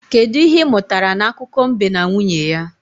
Kedụ ihe ị mụtara n'akụkọ mbe na nwunye ya?